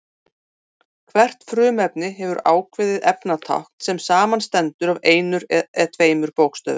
Hvert frumefni hefur ákveðið efnatákn sem samanstendur af einum eða tveimur bókstöfum.